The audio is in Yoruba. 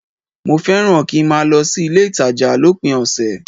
Mo fẹ́ràn kí n máa lọ sí ilé-ìtàjà lópin ọ̀sẹ̀